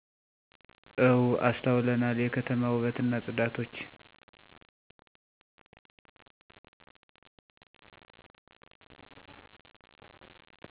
እው አስተውለናል የከተማ ውበትና ጽዳቶች